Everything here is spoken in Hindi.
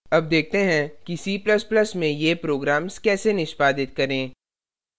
अब देखते हैं कि c ++ में ये programs कैसे निष्पादित करें